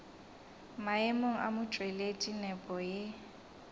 maemong a motšweletši nepo e